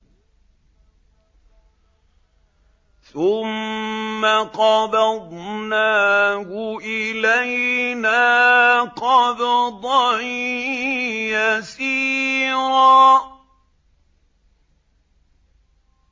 ثُمَّ قَبَضْنَاهُ إِلَيْنَا قَبْضًا يَسِيرًا